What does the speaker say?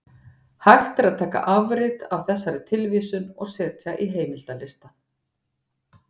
Hægt er að taka afrit af þessari tilvísun og setja í heimildalista.